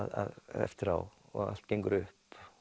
eftirá og allt gengur upp